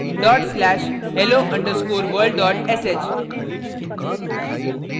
dot slash hello underscore world dot sh